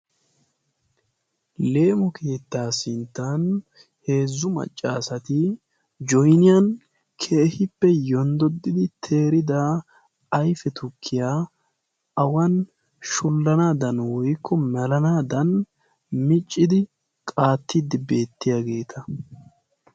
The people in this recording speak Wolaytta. leemo keettaa sinttan heezzu maccaasati jonniyan keehippe yonddodidi teridaa aife tukkiyaa awan shullanaadan woikko malanaadan miccidi qaattiddi beettiyaageeta